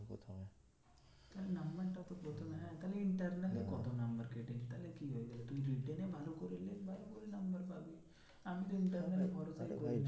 নাম্বারটা তো প্রথমে হ্যাঁ তাহলে internal এ কত নাম্বার কেটেছে ভালো করে লেখ ভালো করে নাম্বার পাবি আমি তো internal এ